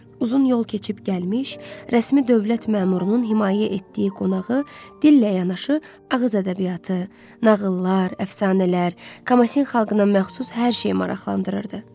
Uzun yol keçib gəlmiş, rəsmi dövlət məmurunun himayə etdiyi qonağı dillə yanaşı ağız ədəbiyyatı, nağıllar, əfsanələr, Kamasin xalqına məxsus hər şey maraqlandırırdı.